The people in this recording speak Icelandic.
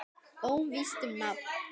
Óvíst um nafn.